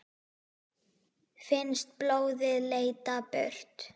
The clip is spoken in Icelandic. Finnst blóðið leita burt.